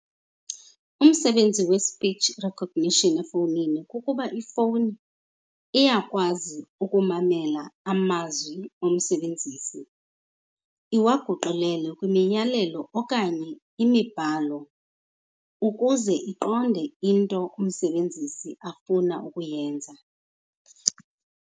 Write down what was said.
Umsebenzi we-speech recognition efowunini kukuba ifowuni iyakwazi ukumamela amazwi omsebenzisi iwaguqulele kwimiyalelo okanye imibhalo, ukuze iqonde into umsebenzisi afuna ukuyenza.